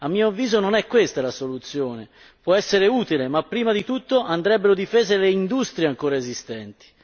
A mio avviso, non è questa la soluzione, può essere utile, ma prima di tutto andrebbero difese le industrie ancora esistenti.